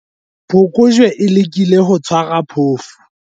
phokojwe e lekile ho tshwara phofu